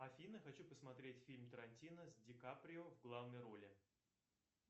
афина хочу посмотреть фильм тарантино с дикаприо в главной роли